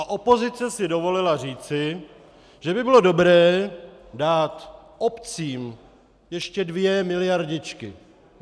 A opozice si dovolila říci, že by bylo dobré dát obcím ještě dvě miliardičky.